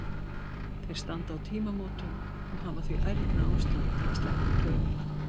Þeir standa á tímamótum og hafa því ærna ástæðu til að sletta úr klaufunum.